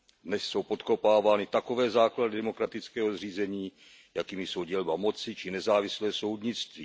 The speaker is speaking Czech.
Dnes jsou podkopávány takové základy demokratického zřízení, jakými jsou dělba moci či nezávislé soudnictví.